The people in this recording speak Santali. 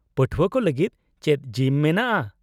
-ᱯᱟᱹᱴᱷᱣᱟᱹ ᱠᱚ ᱞᱟᱹᱜᱤᱫ ᱪᱮᱫ ᱡᱤᱢ ᱢᱮᱱᱟᱜᱼᱟ ?